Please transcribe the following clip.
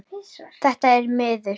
Þetta er miður.